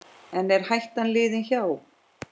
En er hættan liðin hjá?